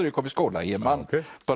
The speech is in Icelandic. ég kom í skóla ég man